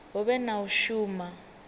hu vhe na u shuma